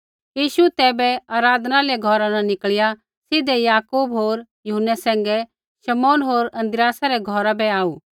यीशु तैबै आराधनालय घौरा न निकल़िया सीधै याकूब होर यूहन्नै सैंघै शमौन होर आंद्रियासा रै घौरा बै आऊ